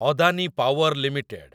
Adani power limited